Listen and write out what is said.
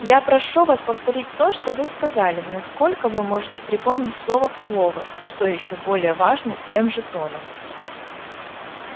я прошу вас повторить то что вы сказали насколько вы можете припомнить слово в слово и что ещё более важно тем же тоном